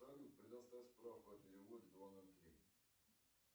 салют предоставь справку о переводе два ноль три